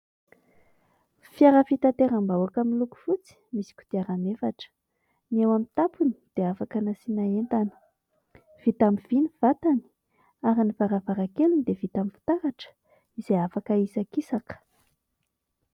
Fiara fitateram-bahoaka miloko fotsy, misy kodiaran'efatra, ny eo amin'ny tampony dia afaka nasiana entana, vita amin'ny vy ny vatany ary ny varavarankeliny dia vita amin'ny fitaratra, izay afaka hahisakisaka.